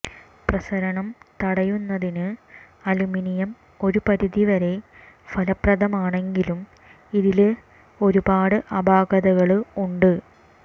പ്രസരണം തടയുന്നതിന് അലുമിനിയം ഒരു പരിധിവരെ ഫലപ്രദമാണെങ്കിലും ഇതില് ഒരുപാട് അപാകതകള് ഉണ്ട്